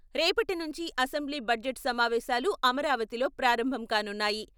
రేపటి నుంచి assembly budget సమావేశాలు అమరావతిలో ప్రారంభం కానున్నాయి.